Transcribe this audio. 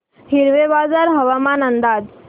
हिवरेबाजार हवामान अंदाज